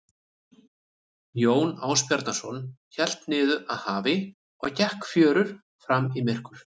Jón Ásbjarnarson hélt niður að hafi og gekk um fjörur fram í myrkur.